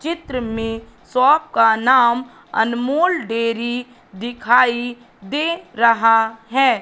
चित्र में सॉप का नाम अनमोल डेरी दिखाई दे रहा है।